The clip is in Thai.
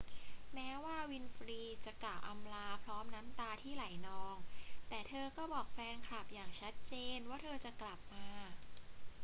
แม้ว่าวินฟรีย์จะกล่าวอำลาพร้อมน้ำตาที่ไหลนอง แต่เธอก็บอกแฟนคลับอย่างชัดเจนว่าเธอจะกลับมา